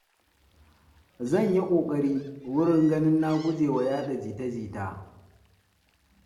zan ya ƙoƙari wurin ganin na guje wa yaɗa jita-jita.